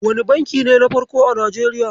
Wane banki ne na farko a Nijeriya?